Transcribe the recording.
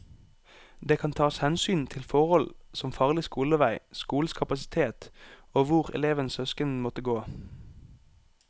Det kan tas hensyn til forhold som farlig skolevei, skolenes kapasitet og hvor elevens søsken måtte gå.